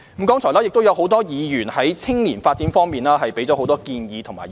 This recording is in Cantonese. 剛才亦有多位議員在青年發展方面提出很多建議和意見。